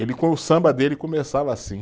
Ele, com o samba dele, começava assim.